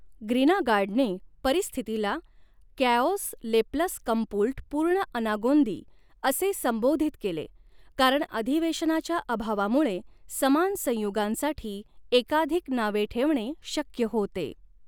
ग्रिनागार्डने परिस्थितीला कॅओस ले प्लस कम्पुल्ट पूर्ण अनागोंदी असे संबोधित केले कारण अधिवेशनाच्या अभावामुळे समान संयुगांसाठी एकाधिक नावे ठेवणे शक्य होते.